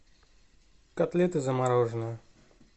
котлеты замороженные